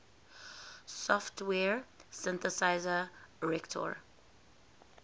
software synthesizer reaktor